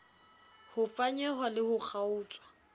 ho fanyehwa le ho kgaotswa